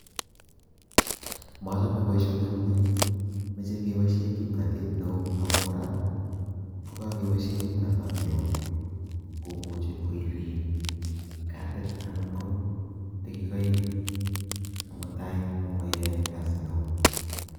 Machame boishoni amune meche keboishe kimnatet neo ako kora kokakeboshe kimnatani neo komuchi koiriin katit anan ko tikikaik komutai maiyae Kasi neo